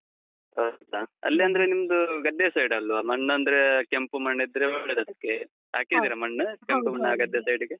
ಹೌದಾ? ಅಲ್ಲಿಯಂದ್ರೆ ನಿಮ್ದು ಗದ್ದೆ side ಲ್ವಾ? ಮಣ್ಣಂದ್ರೇ ಕೆಂಪು ಮಣ್ಣಿದ್ರೆ ಒಳ್ಳೇದದ್ಕೆ. ಹಾಕಿದಿರಾ ಮಣ್ಣು? ಕೆಂಪು ಮಣ್ಣ್ ಆ ಗದ್ದೆಯ side ಗೆ?